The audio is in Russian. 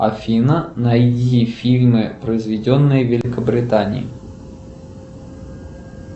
афина найди фильмы произведенные в великобритании